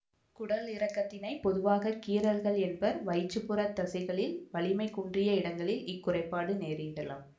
குடலிறக்கத்தினைப் பொதுவாக கீறல்கள் என்பர்வயிற்றுப்புறத் தசைகளில் வலிமை குன்றிய இடங்களில் இக்குறைப்பாடு நேரிடலாம்